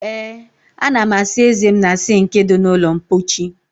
Ee ana m asa eze m na sinki di na ulo mpochi